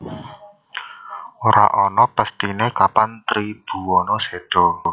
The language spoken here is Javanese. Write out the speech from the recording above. Ora ana pesthine kapan Tribhuwana seda